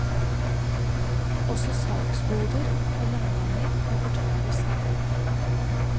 Også salgsboder og landganger med portaler skal vekk.